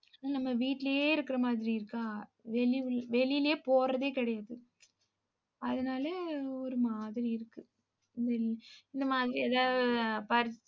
நம்ம வீட்டிலேயே இருக்கிற மாதிரி இருக்கா வெளி~ வெளியிலேயே போறதே கிடையாது. அதனால, ஒரு மாதிரி இருக்கு. இந்த இந்த மாதிரி ஏதா~